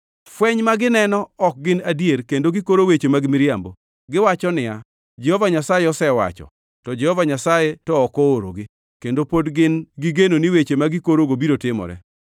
Fweny ma gineno ok gin adier kendo gikoro weche mag miriambo. Giwacho niya, “Jehova Nyasaye osewacho,” to Jehova Nyasaye to ok oorogi, kendo pod gin gi geno ni weche ma gikorogo biro timore.